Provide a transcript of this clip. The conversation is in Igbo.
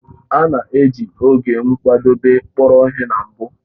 A na-eji oge nkwadebe kpọrọ ihe na mbụ